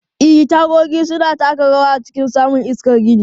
E, tagogi suna taka rawa a cikin samun iskar gini.